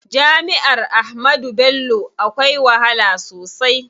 Jami'ar Ahmadu Bello akwai wahala sosai.